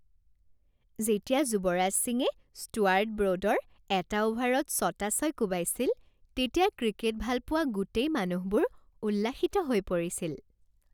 যেতিয়া যুৱৰাজ সিঙে ষ্টুৱাৰ্ট ব্ৰ'ডৰ এটা অ'ভাৰত ছটা ছয় কোবাইছিল, তেতিয়া ক্ৰিকেট ভালপোৱা গোটেই মানুহবোৰ উল্লাসিত হৈ পৰিছিল।